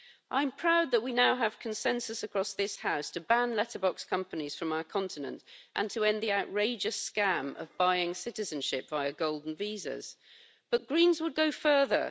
I am proud that we now have consensus across this House to ban letterbox companies from our continent and to end the outrageous scam of buying citizenship via Golden Visas, but the Greens would go further.